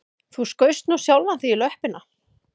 Þú skaust nú sjálfan þig í löppina